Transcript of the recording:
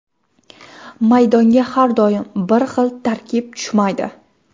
Maydonga har doim bir xil tarkib tushmaydi”.